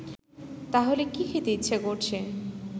তাহলে কি খেতে ইচ্ছে করছে